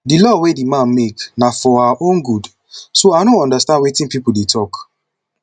the law wey the man make na for our own good so i no understand wetin people dey talk